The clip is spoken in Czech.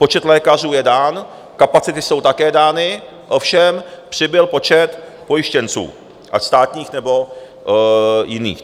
Počet lékařů je dán, kapacity jsou také dány, ovšem přibyl počet pojištěnců, ať státních, nebo jiných.